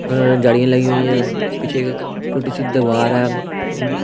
और जाड़ियां लगी हुई हैं पीछे टूटी सीट दबा रहा है।